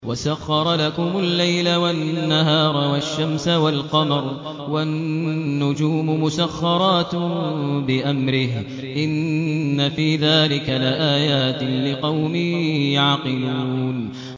وَسَخَّرَ لَكُمُ اللَّيْلَ وَالنَّهَارَ وَالشَّمْسَ وَالْقَمَرَ ۖ وَالنُّجُومُ مُسَخَّرَاتٌ بِأَمْرِهِ ۗ إِنَّ فِي ذَٰلِكَ لَآيَاتٍ لِّقَوْمٍ يَعْقِلُونَ